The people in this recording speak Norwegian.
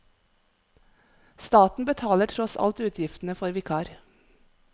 Staten betaler tross alt utgiftene for vikar.